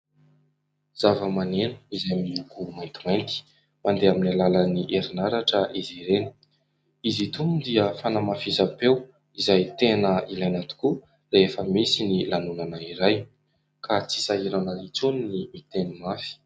Zavamaneno izay miloko maintimainty, mandeha amin'ny alalan'ny herinaratra izy ireny. Izy itony moa dia fanamafisam-peo, izay tena ilaina tokoa rehefa misy ny lanonana iray, ka tsy sahirana intsony ny miteny mafy.